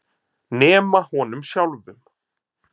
Nema honum sjálfum.